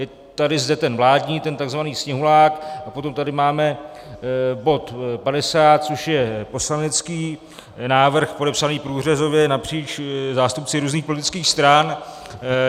Je tady zde ten vládní, ten tzv. sněhulák, a potom tady máme bod 50, což je poslanecký návrh podepsaný průřezově napříč zástupci různých politických stran.